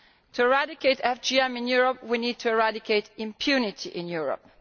To eradicate FGM in Europe we need to eradicate impunity in Europe.